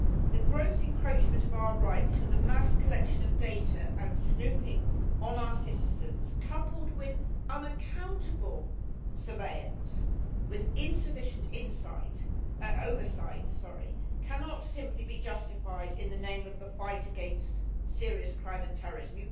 The gross encroachment of our rights through the mass collection of data and snooping on our citizens, coupled with unaccountable surveillance with insufficient oversight, cannot simply be justified in the name of the fight against serious crime and terrorism.